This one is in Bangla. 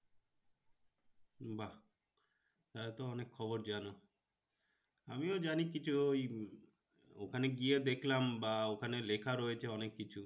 বাহ তাহলে তো অনেক খবর জানো। আমিও জানি কিছু ওই ওখানে গিয়ে দেখলাম বা ওখানে লেখা রয়েছে অনেক কিছু।